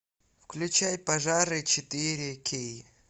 включай пожары четыре кей